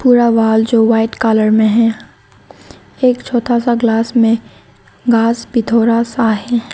पूरा वॉल जो white colour में है एक छोटा सा ग्लास में घास भी थोड़ा सा है।